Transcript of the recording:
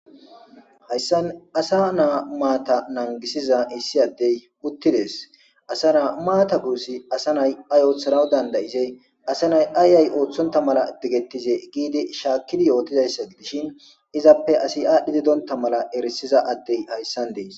hayssan asa naa maata nangisiza issi addey uttidees asa naa maata guussi asa nay ay ooththanaw dandayizey asa nay ayay ooththonta mala degettize giidi shaakkid yootidayssa dishin izappe asi aadhdhi dedonta mala erisiza addey hayssan dees